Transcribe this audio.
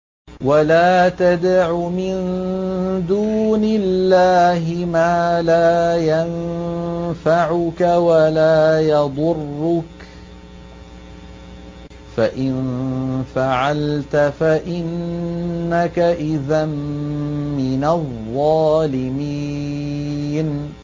وَلَا تَدْعُ مِن دُونِ اللَّهِ مَا لَا يَنفَعُكَ وَلَا يَضُرُّكَ ۖ فَإِن فَعَلْتَ فَإِنَّكَ إِذًا مِّنَ الظَّالِمِينَ